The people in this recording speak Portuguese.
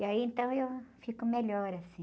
E aí, então, eu fico melhor, assim.